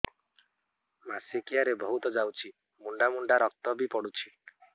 ମାସିକିଆ ରେ ବହୁତ ଯାଉଛି ମୁଣ୍ଡା ମୁଣ୍ଡା ରକ୍ତ ବି ପଡୁଛି